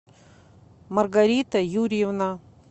маргарита юрьевна